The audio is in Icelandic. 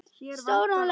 Stjórn LEK